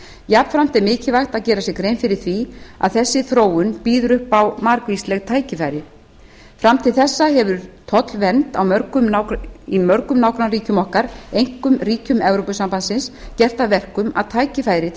jafnframt er mikilvægt að gera sér grein fyrir því að þessi þróun býður upp á margvísleg tækifæri fram til þessa hefur tollvernd í mörgum nágrannaríkjum okkar einkum ríkjum evrópusambandsins gert að verkum að tækifæri til